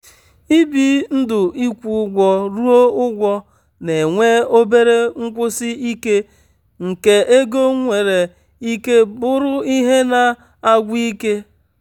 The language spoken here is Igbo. ibi ndụịkwụ ụgwọ ruo ụgwọ na-enwe obere nkwụsi ike nke ego nwere ike bụrụ ihe na-agwụ ike.